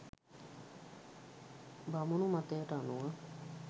බමුණු මතයට අනුව